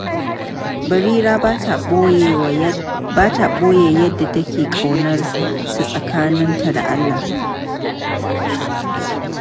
Barira ba ta ɓoye yadda take ƙaunar sa tsakani da Allah.